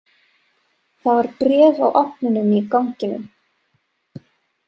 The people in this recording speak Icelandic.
Það var bréf á ofninum í ganginum.